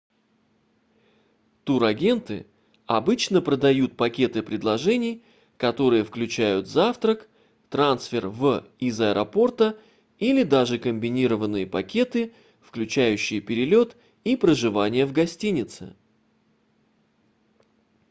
турагенты обычно продают пакеты предложений которые включают завтрак трансфер в/из аэропорта или даже комбинированные пакеты включающие перелет и проживание в гостинице